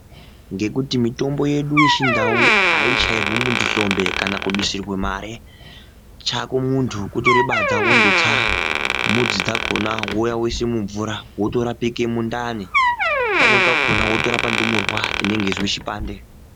Ngekuti mitombo yedu yechindau aidusirwi muntu mwombe kana kuchairwa hlombe ,chako muntu kutore badza wondotsa mudzi dzakona woise mumvura wotora wotorapeke mundane pamweni pakona wotorape ndumurwa inenge yaizwe chipande